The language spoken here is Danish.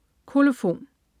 Kolofon